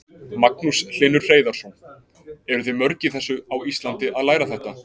Magnús Hlynur Hreiðarsson: Eruð þið mörg í þessu á Íslandi að læra þetta?